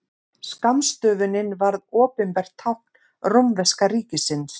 Skammstöfunin varð opinbert tákn rómverska ríkisins.